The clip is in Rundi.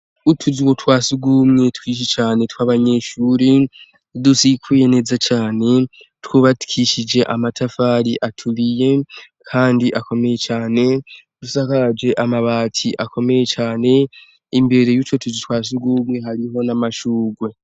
Utuzi uwo twasiugumwe twishi cane tw' abanyeshuri dusikwye neza cane twubatwishije amatafari atubiye, kandi akomeye cane, dusakaje amabati akomeye cane, imbere y'uco tuzi twasugumwe hariho n'amashugwe.